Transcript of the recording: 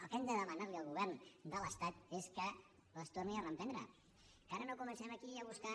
el que hem de demanar li al govern de l’estat és que les torni a reprendre que ara no comencem aquí a buscar